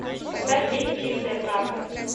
поставь фильм чистая правда